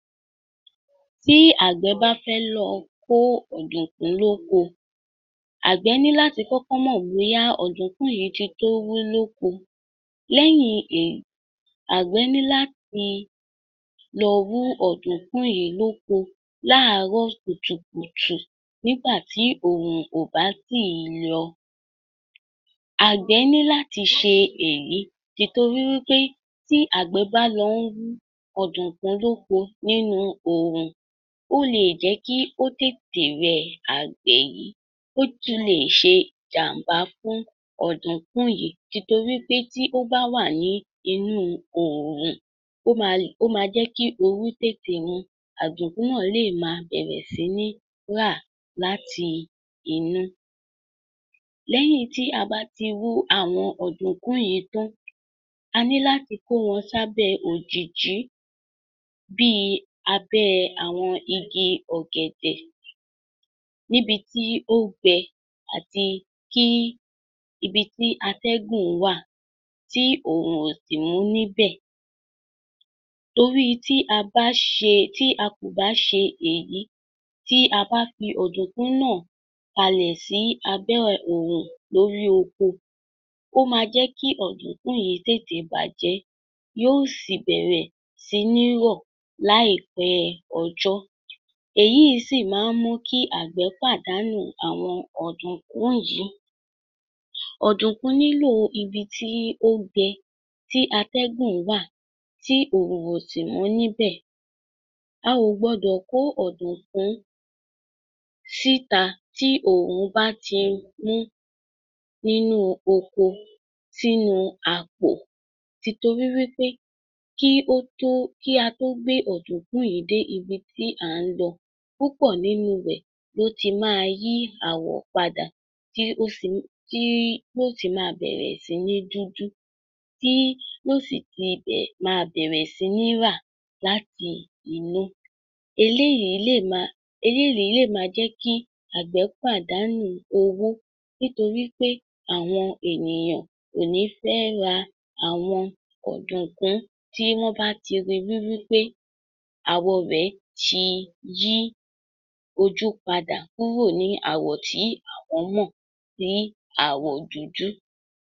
Tí àgbẹ̀ bá fẹ́ lọ kó ọ̀dùnkún lóko, àgbẹ̀ ní láti kọ́kọ́ mọ̀ bóyá ọ̀dùnkún yìí ti tóó wú lóko. Lẹ́yìn èyí àgbẹ́ ní láti lọ wú ọ̀dùnkún yìí lóko láàárọ̀ kùtùkùtù nígbà tí oòrùn kò bá tíì yọ. Àgbẹ̀ ní láti ṣe èyí nítorí wí pé tí àgbẹ́ bá lọ wú ọ̀dùnkún lóko nínú òòrùn ó lè jẹ́ kí ó tètè rẹ àgbẹ́ yìí, ó tún lè ṣe ìjàǹbá fún ọ̀dùnkún yìí nítorí pé tí ó bá wà nínú oòrùn ó máa jẹ́ kí ooru tètè mú un, ọ̀dùnkún náà lè máa bẹ̀ẹ̀rẹ̀ sí ní rà láti inú. Lẹ́yìn tí a bá ti wú àwọn ọ̀dùnkún yìí tán, a ní láti kó wọn sábẹ́ òjììji, bì abẹ́ àwọn igi ọ̀gẹ̀dẹ̀ níbi tí ó gbẹ àti tí ibi tí atẹ́gùn wà tí oòrù kò sì mú níbẹ̀. Torí tí a bá ṣe tí a kò bà ṣe èyí tí a bá fi ọ̀dùnkún náà kalẹ̀ sí abẹ́ oòrùn lórí oko, ó máa jẹ́ kí ọ̀dùnkún yìí tètè bàjẹ́ yóò sì bẹ̀rẹ̀ sí ní rọ̀ láìpẹ́ ọjọ́. Èyí sì máa ń jẹ́ kí àwọn àgbẹ̀ pàdánù àwọn ọ̀dùnkún yìí. Ọ̀dùnkún nílò ibi tí ó gbẹ tí atẹ́gùn wà tí oòrùn kò mú níbẹ̀. A ò gbọdọ̀ kó ọ̀dùnkún síta tí oòrùn bá ti mú nínú oko sínú àpò tìtorí wí pé tí òjo kí a tó gbé ọ̀dùnkún yìí dé ibi tí à ń lọ, púpọ̀ nínú rẹ̀ ló ti máa yí àwọ̀ padà tí yóó sì máa bẹ̀rẹ̀ sí ní rà láti inú. Eléyìí lè máa eléyìí yóò máa jẹ́ kí àgbẹ̀ pàdánù owó nítorí pé àwọn ènìyàn kò ní ra àwọn ọ̀dùnkún tí wọ́n bá ti ríi wí pé àwọ̀ rẹ̀ ti yí ojú padà kúrò ní àwọ̀ tí wọ́n mọ̀ ní àwọ̀ dúdú.